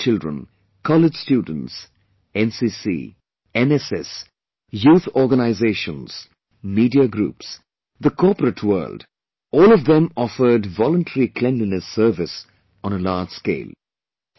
School children, college students, NCC, NSS, youth organisations, media groups, the corporate world, all of them offered voluntary cleanliness service on a large scale